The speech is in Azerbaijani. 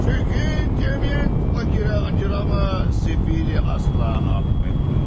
Çünkü cəmiyyət fakirə acımaz, sefili asla affetmez.